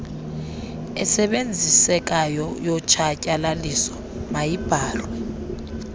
esebenzisekayo yotshatyalaliso mayibhalwe